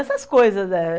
Essas coisas, né?